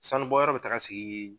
Sanu bɔ yɔrɔ bɛ taga sigi